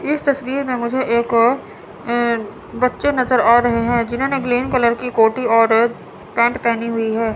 इस तस्वीर में मुझे एक अ बच्चे नज़र आ रहे हैं जिन्होंने ग्रीन कलर की कोटी और पैंट पेहनी हुई है।